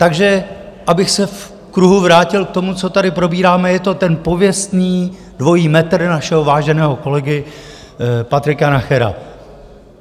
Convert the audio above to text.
Takže abych se v kruhu vrátil k tomu, co tady probíráme, je to ten pověstný dvojí metr našeho váženého kolegy Patrika Nachera.